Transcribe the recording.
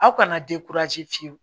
Aw kana fiyewu